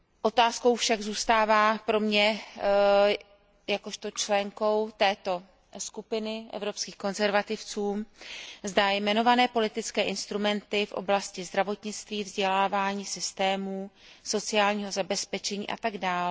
Otázkou však zůstává pro mě jakožto členku skupiny Evropských konzervativců a reformistů, zda jmenované politické instrumenty v oblasti zdravotnictví, vzdělávání, systémů sociálního zabezpečení atd.